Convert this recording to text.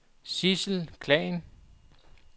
Sidsel Khan